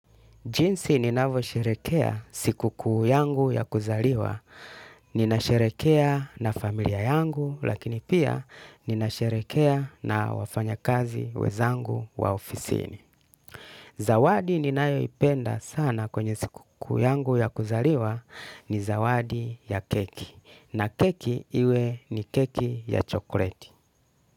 Jinsi ninavyo sherekea siku kuu yangu ya kuzaliwa, ninasherekea na familia yangu, lakini pia ninasherekea na wafanya kazi wezangu wa ofisini. Zawadi ninayo ipenda sana kwenye siku yangu ya kuzaliwa ni zawadi ya keki. Na keki iwe ni keki ya chokleti.